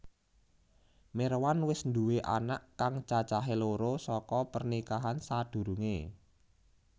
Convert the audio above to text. Mirwan wis nduwé anak kang cacahé loro saka pernikahan sadurungé